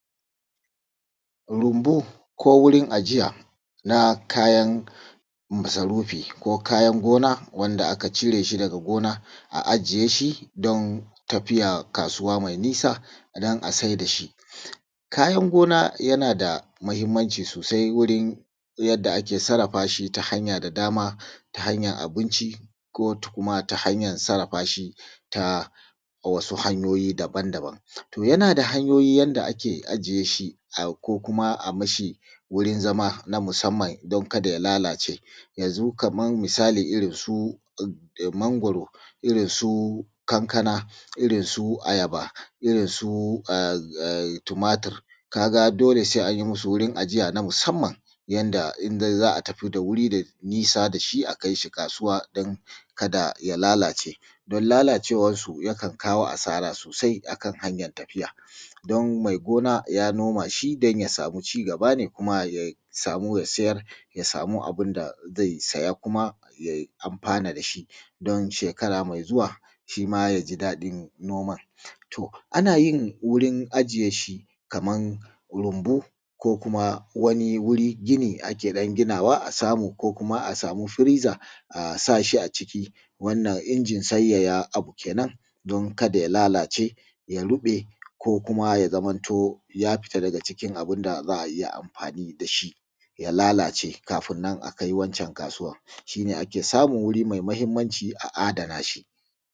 Rumbu ko wurin ajiya na kayan masarufi ko kayan gona, wanda aka cire shi daga gona, a ajiye shi don tafiya kasuwa mai nisa, don a saida shi. Kayan gona yana da muhimmanci sosai wurin yadda ake sarrafa shi ta hanya da dama, ta hanyan abinci ko kuma ta hanyan sarrafa shi ta wasu hanyoyi daban-daban. To yana da hanyoyi yanda ake ajiye shi ko kuma a mashi wurin zama na musamman don kada ya lalace, yanzu kamar misali irinsu mangwaro, irinsu kankana, irinsu ayaba, irinsu eh eh tumatir, ka ga dole sai an musu wurin ajiya na musamman, yanda in dai za a tafi da wuri da nisa da a kai shi kasuwa don kada ya lalace, don lalacewarsu yakan kawo asara sosai a kan hanyar tafiya. Don mai gona ya noma shi don ya samu cigaba ne don ma ya samu ya siyar, ya samu abun da zai saya kuma yay amfana da shi, don shekara mai zuwa shima ya ji daɗin noman. To, ana yin wurin ajiye shi kaman rumbu ko kuma wani wuri gini ake ɗan ginawa a samu ko kuma a samu freezer a sa shi a ciki, wannan injin sanyaya abu kenan don kada ya lalace, ya ruɓe, ko kuma ya zamanto ya fita daga cikin abun da za a iya amfani da shi, ya lalace kafin nan a kai wancan kasuwan, shi ne ake samun wurin mai mahimmanci a adana shi.